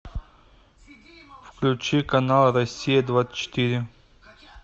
включи канал россия двадцать четыре